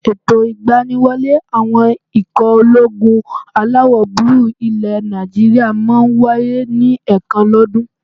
Ètò ìgbaniwọlé àwọn ikọ̀ ológun alawọ̀-búúlù ilẹ̀ Nàìjíríyà máà ń wáyé ní ẹ̀ẹ̀kan lọ́ dún.